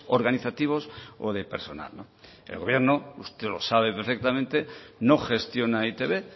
organizativos o de personal el gobierno usted lo sabe perfectamente no gestiona e i te be